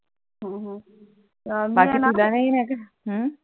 हम्म